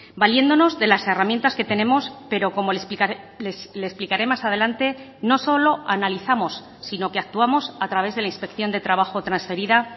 valiéndonos de las herramientas que tenemos pero como le explicaré más adelante no solo analizamos sino que actuamos a través de la inspección de trabajo transferida